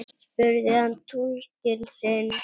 spurði hann túlkinn sinn.